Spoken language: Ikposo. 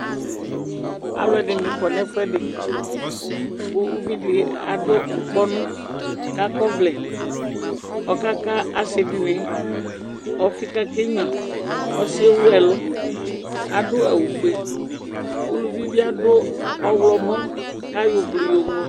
Aluɛdini kɔ nu ɛfuɛdi ku uvidi adu ŋukpɔnu kakɔ ɔvlɛ ɔka ka ɔsidini ɔfi kake nya ɔsiɛ ewu ɛlu adu awu fue uluvi adu ɔɣlomɔ ayɔ ublu ŋlo